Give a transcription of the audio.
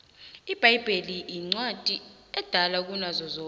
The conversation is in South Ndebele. ibhayibheli incwadi edala kunazo zonke